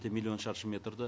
миллион шаршы метрді